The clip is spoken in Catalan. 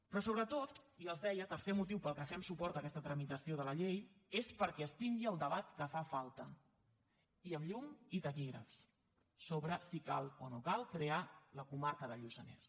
però sobretot i els deia tercer motiu pel que fem suport a aquesta tramitació de la llei és perquè es tingui el debat que fa falta i amb llum i taquígrafs sobre si cal o no cal crear la comarca del lluçanès